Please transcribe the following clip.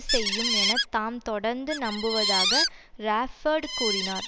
செய்யும் என தாம் தொடர்ந்து நம்புவதாக ராப்பேர்டு கூறினார்